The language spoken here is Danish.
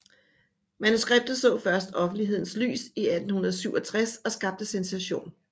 Manuskriptet så først offentlighedens lys i 1867 og skabte sensation